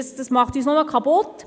Dies macht uns kaputt.